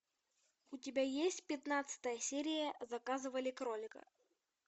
у тебя есть пятнадцатая серия заказывали кролика